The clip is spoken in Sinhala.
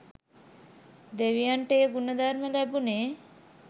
දෙවියන්ට ඒ ගුණ ධර්ම ලැබුණේ